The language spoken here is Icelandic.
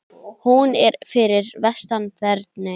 Hún er fyrir vestan Þerney.